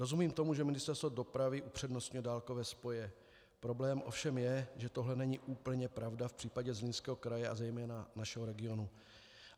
Rozumím tomu, že Ministerstvo dopravy upřednostňuje dálkové spoje, problém ovšem je, že tohle není úplně pravda v případě Zlínského kraje, a zejména našeho regionu.